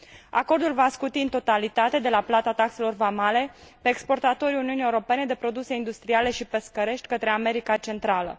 Acordul va scuti în totalitate de la plata taxelor vamale exportatorii Uniunii Europene de produse industriale și pescărești către America Centrală.